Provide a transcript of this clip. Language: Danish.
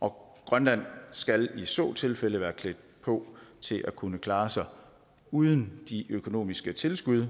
og grønland skal i så tilfælde være klædt på til at kunne klare sig uden de økonomiske tilskud